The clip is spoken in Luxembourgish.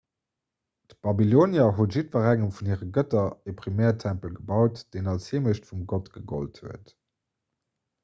d'babylonier hu jiddwerengem vun hire gëtter e primärtempel gebaut deen als heemecht vum gott gegollt huet